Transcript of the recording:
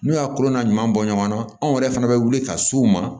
N'u y'a kolo n'a ɲɔgɔn bɔ ɲɔgɔnna anw yɛrɛ fana bɛ wuli ka s'u ma